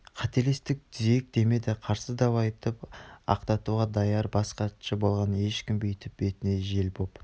қателестік түзетейік демеді қарсы дау айтып ақталуға даяр бас хатшы болғалы ешкім бүйтіп бетіне жел боп